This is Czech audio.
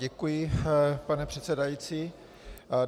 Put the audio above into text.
Děkuji, pane předsedající.